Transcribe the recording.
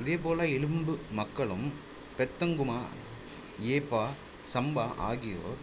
இதேபோல இலும்பு மக்களும் பெதங்குமா யேபா சம்பா ஆகியோர்